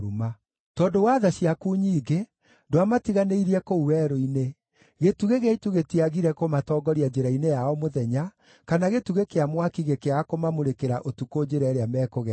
“Tondũ wa tha ciaku nyingĩ, ndwamatiganĩirie kũu werũ-inĩ. Gĩtugĩ gĩa itu gĩtiagire kũmatongoria njĩra-inĩ yao mũthenya, kana gĩtugĩ kĩa mwaki gĩkĩaga kũmamũrĩkĩra ũtukũ njĩra ĩrĩa mekũgerera.